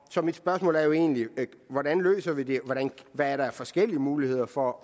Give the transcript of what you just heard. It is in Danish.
så mit spørgsmål er jo egentlig hvordan løser vi det hvad er der af forskellige muligheder for